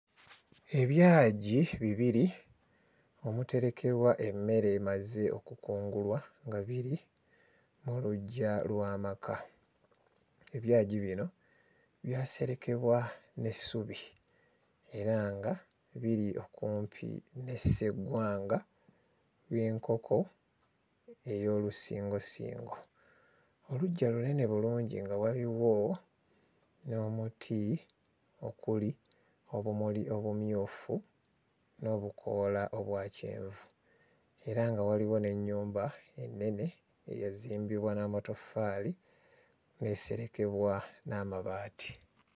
Ebyagi bibiri omuterekebwa emmere emaze okukungulwa nga biri mu luggya lw'amaka. Ebyagi bino byaserekebwa n'essubi era nga biri okumpi ne sseggwanga y'enkoko ey'olusingosingo. Oluggya lunene bulungi nga waliwo n'omuti okuli obumuli obumyufu n'obukoola obwa kyenvu era nga waliwo n'ennyumba ennene eyazimbibwa n'amatoffaali, n'eserekebwa n'amabaati.